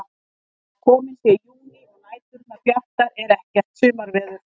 Þó að kominn sé júní og næturnar bjartar er ekkert sumarveður.